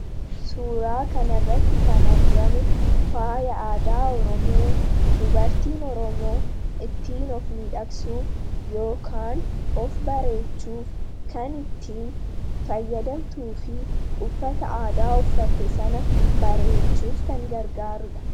Suuraa kanirratti kan argamu faaya aadaa oromoo dubartiin oromoo ittiin of Midhaksuuf yookaan of bareechuuf kan ittiin fayyadamtuu fi uffata aadaa uffatte sana bareechuuf kan gargaaruudha.